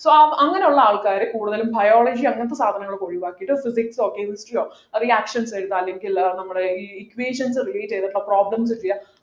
so അങ്ങനെയുള്ള ആൾക്കാര് കൂടുതലും biology അങ്ങനത്തെ സാധനങ്ങളൊക്കെ ഒഴിവാക്കിയിട്ട് physics ഓ chemistry ഓ reactions എടുക്കാ അല്ലെങ്കിൽ ഏർ നമ്മുടെ ഈ equations relate ചെയ്തിട്ടുള്ള problems ചെയ്യാം